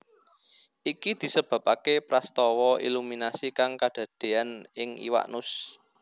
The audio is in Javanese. Iki disebabaké prastawa iluminasi kang kadadéan ing iwak nus